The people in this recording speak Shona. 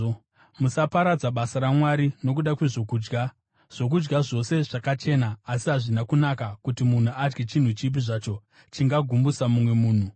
Musaparadza basa raMwari nokuda kwezvokudya. Zvokudya zvose zvakachena, asi hazvina kunaka kuti munhu adye chinhu chipi zvacho chingagumbusa mumwe munhu.